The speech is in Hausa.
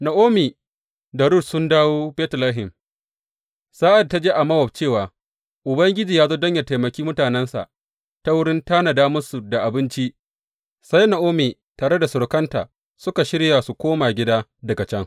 Na’omi da Rut sun dawo Betlehem Sa’ad da ta ji a Mowab cewa Ubangiji ya zo don yă taimaki mutanensa ta wurin tanada musu da abinci, sai Na’omi tare da surukanta suka shirya su koma gida daga can.